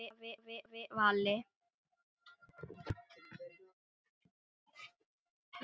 Elsku afi Valli!